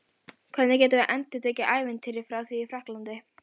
Hvernig getum við endurtekið ævintýrið frá því í Frakklandi?